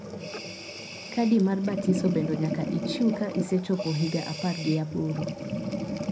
kadi mar batiso bendo nyaka ichiw ka isechopo higa apar gi aboro